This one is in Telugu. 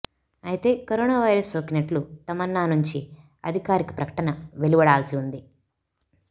అయితే కరోనా వైరస్ సోకినట్లు తమన్నా నుంచి అధికారక ప్రకటన వెలువడాల్సి ఉంది